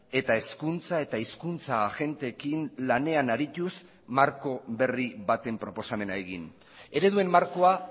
eta hezkuntza eta hizkuntza agenteekin lanean arituz marko berri baten proposamena egin ereduen markoa